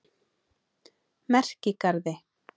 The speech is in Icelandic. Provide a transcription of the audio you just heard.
Merkigarði